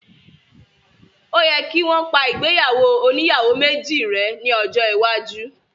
Óò yẹ kí wọ́n pa ìgbéyàwó oníyàwó méjì rẹ́ ní ọjọ́ iwájú